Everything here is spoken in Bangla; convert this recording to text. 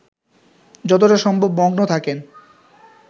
যতটা সম্ভব মগ্ন থাকেন